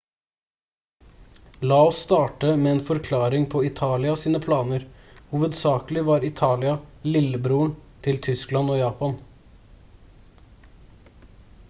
la oss starte med en forklaring på italia sine planer. hovedsakelig var italia «lillebroren» til tyskland og japan